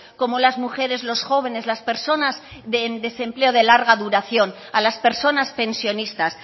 como las mujeres los jóvenes las personas en desempleo de larga duración a las personas pensionistas